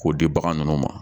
K'o di bagan ninnu ma